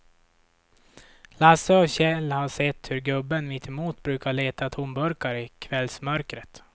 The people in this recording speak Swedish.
Lasse och Kjell har sett hur gubben mittemot brukar leta tomburkar i kvällsmörkret.